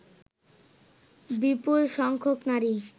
বিপুল সংখ্যক নারী